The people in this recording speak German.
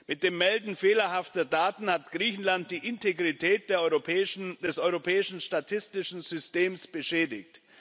Mit dem Melden fehlerhafter Daten hat Griechenland die Integrität des europäischen statistischen Systems beschädigt.